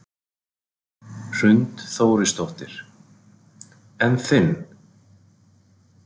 Hrund Þórsdóttir: En þinn?